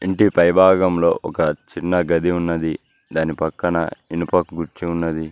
ఇంటి పై భాగంలో ఒక చిన్న గది ఉన్నది దాని పక్కన ఇనుప కుర్చీ ఉన్నది.